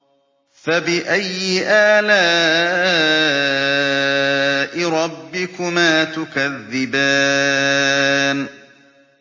فَبِأَيِّ آلَاءِ رَبِّكُمَا تُكَذِّبَانِ